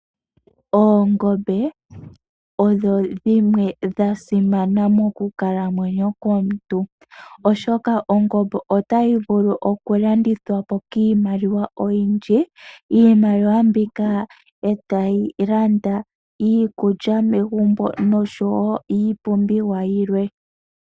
Oongombe odho dhimwe dha simana mokukalamwenyo komuntu, oshoka ongombe otayi vulu okulandithwa po kiimaliwa oyindji. Iimaliwa mbika tayi longithwa okulanda iikulya megumbo, nenge iipumbiwa yilwe.